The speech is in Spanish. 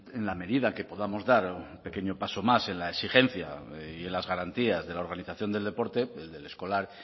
en la medida en que podamos dar un pequeño pasos más en la exigencia y en las garantías de la organización del deporte del escolar